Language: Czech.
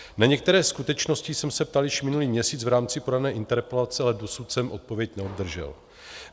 Na některé skutečnosti jsem se ptal již minulý měsíc v rámci podané interpelace, ale dosud jsem odpověď neobdržel.